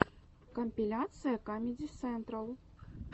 компиляция камеди централ